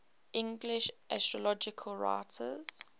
english astrological writers